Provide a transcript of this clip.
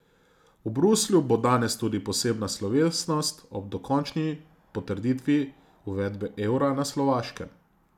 V Bruslju bo danes tudi posebna slovesnost ob dokončni potrditvi uvedbe evra na Slovaškem.